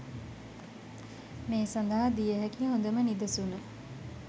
මේ සඳහා දිය හැකි හොඳම නිදසුන